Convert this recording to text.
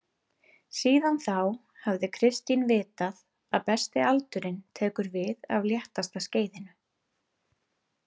Síðan þá hafði Kristín vitað að besti aldurinn tekur við af léttasta skeiðinu.